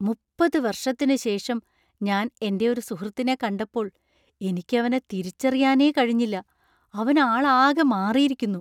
മുപ്പത് വർഷത്തിനു ശേഷം ഞാൻ എൻ്റെ ഒരു സുഹൃത്തിനെ കണ്ടപ്പോൾ എനിക്കവനെ തിരിച്ചറിയാനേ കഴിഞ്ഞില്ല, അവൻ ആൾ ആകെ മാറിയിരിക്കുന്നു.